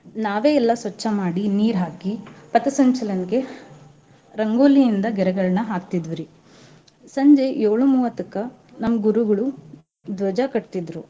ನಾವೇ ಎಲ್ಲಾ ಸ್ವಚ್ಚ ಮಾಡಿ ನೀರ್ ಹಾಕಿ ಪಥಸಂಚಲನ್ಕೆ ರಂಗೋಲಿ ಇಂದ ಗೇರೆಗಳ್ನ ಹಾಕ್ತಿದ್ವಿರೀ ಸಂಜೆ ಏಳು ಮೂವತ್ತಕ್ಕ ನಮ್ ಗುರುಗಳು ದ್ವಜ ಕಟ್ತಿದ್ರು.